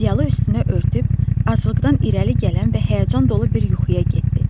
Ədyalı üstünə örtüb, aclıqdan irəli gələn və həyəcan dolu bir yuxuya getdi.